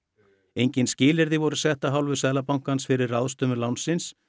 engin skilyrði voru sett af hálfu Seðlabankans fyrir ráðstöfun lánsins